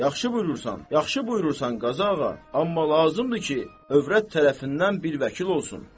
Yaxşı buyurursan, yaxşı buyurursan, Qazıağa, amma lazımdır ki, hövrət tərəfindən bir vəkil olsun.